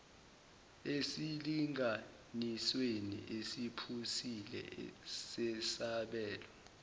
esilinganisweni esiphusile sesabelo